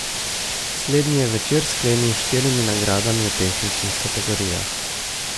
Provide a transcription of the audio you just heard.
Slednji je večer sklenil s štirimi nagradami v tehničnih kategorijah.